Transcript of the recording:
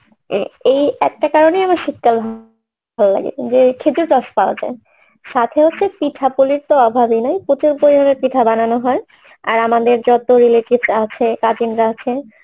এ এই একটা কারণে আমার শীতকাল ভালোলাগে যে খেজুর রস পাওয়া যায় সাথে আছে পিঠা পুলির তো অভাবই নাই প্রচুর পরিমানে পিঠা বানানো হয় আর আমাদের যত relatives আছে কাজিনরা